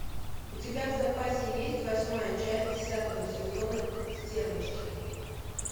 у тебя в запасе есть восьмая часть десятого сезона стервочки